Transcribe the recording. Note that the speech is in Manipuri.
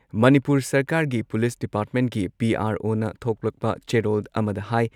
ꯃꯅꯤꯄꯨꯔ ꯁꯔꯀꯥꯔꯒꯤ ꯄꯨꯂꯤꯁ ꯗꯤꯄꯥꯔꯠꯃꯦꯟꯠꯀꯤ ꯄꯤ.ꯑꯥꯔ.ꯑꯣꯅ ꯊꯣꯛꯂꯛꯄ ꯆꯦꯔꯣꯜ ꯑꯃꯗ ꯍꯥꯏ